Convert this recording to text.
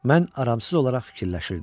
Mən aramsız olaraq fikirləşirdim.